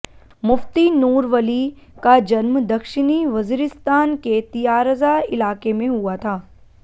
मुफ़्ती नूर वली का जन्म दक्षिणी वज़ीरिस्तान के तियारज़ा इलाक़े में हुआ था